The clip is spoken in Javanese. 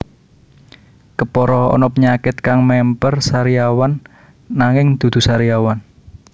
Kepara ana penyakit kang memper sariawan nanging dudu sariawan